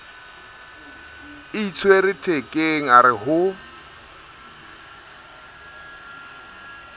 itshwere thekeng a re ho